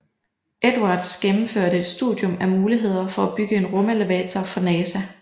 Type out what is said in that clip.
Edwards gennemførte et studium af mulighederne for at bygge en rumelevator for NASA